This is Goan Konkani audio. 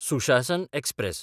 सुशासन एक्सप्रॅस